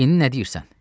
İndi nə deyirsən?